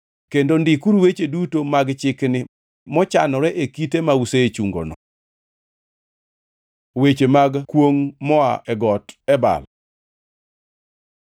Kendo ndikuru weche duto mag chikni mochanore e kite ma usechungono.” Weche mag kwongʼ moa e Got Ebal